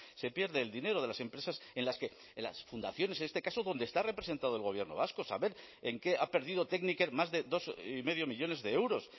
se pierde el dinero de las empresas en las que en las fundaciones en este caso donde está representado el gobierno vasco saber en qué ha perdido tekniker más de dos y medio millónes de euros